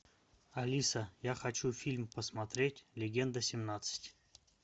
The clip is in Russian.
алиса я хочу фильм посмотреть легенда семнадцать